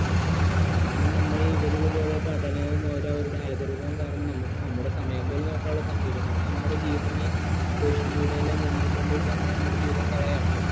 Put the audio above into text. കാരണം നമ്മ ഈ ഇവരിവരുടെ പഠനവും അവരവരുടെ algoritham വും കാരണം നമുക്ക് നമ്മുടെ സമയം പോലും നോക്കാനുള്ള സമയമില്ല നമ്മൾ നമ്മുടെ ജീവിതം ഈ social media ൻ്റെ മുന്നിൽ കൊണ്ടിട്ട് നമ്മൾ നമ്മുടെ ജീവിതം കളയുകയാണ്